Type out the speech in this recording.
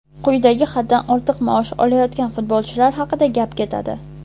Quyidagi haddan ortiq maosh olayotgan futbolchilar haqida gap ketadi.